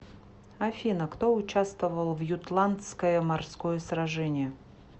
афина кто участвовал в ютландское морское сражение